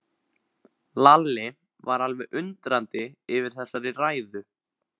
Lalli var alveg undrandi yfir þessari ræðu.